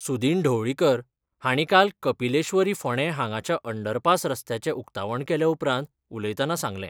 सुदीन ढवळीकर हांणी काल कपिलेश्वरी फोंडे हांगाच्या अँडरपास रस्त्यांचे उक्तावण केले उपरांत उलयताना सांगले.